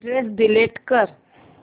address delete कर